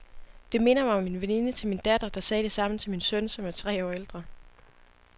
Det minder mig om en veninde til min datter, der sagde det samme til min søn, som er tre år ældre.